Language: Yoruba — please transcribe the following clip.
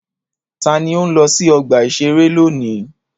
Ta ni ó ń lọ sí ọgbà-ìṣeré lónìí?